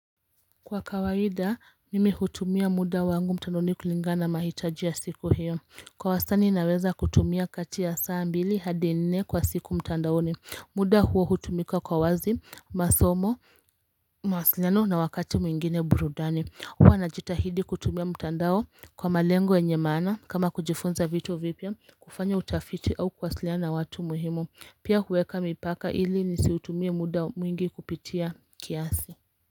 Kwa kawaida mimi hutumia muda wangu mtandaoni kulingana na mahitaji ya siku hiyo Kwa wastani naweza kutumia kati ya saa mbili hadi nne kwa siku mtandaoni muda huo hutumika kwa wazi, masomo, mawasiliano na wakati mwingine burudani huwa najitahidi kutumia mtandao kwa malengo yenye maana kama kujifunza vitu vipya kufanya utafiti au kuwasiliana na watu muhimu Pia huweka mipaka ili nisiutumie muda mwingi kupitia kiasi.